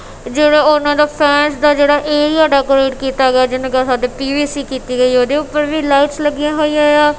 ਜਿਹੜੇ ਓਹਨਾਂ ਦਾ ਫੈਂਸ ਦਾ ਜਿਹੜਾ ਏਰੀਆ ਡੈਕੋਰੇਟ ਕੀਤਾ ਗਿਆ ਜਿਹਨਾਂ ਕੇ ਸਾਡੇ ਪੀ_ਵੀ_ਸੀ ਕੀਤੀ ਗਈ ਹੈ ਓਹਦੇ ਊਪਰ ਵੀ ਲਾਈਟਸ ਲੱਗੀਆਂ ਹੋਈਆਂ ਆਂ।